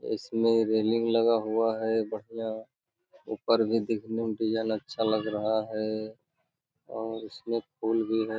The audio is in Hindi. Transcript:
इसमे रेलिंग लगा हुआ है बढ़िया ऊपर भी देखने मे डिजाइन अच्छा लग रहा है और उसमे फूल भी है।